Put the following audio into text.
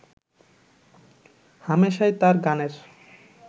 হামেশাই তাঁর গানের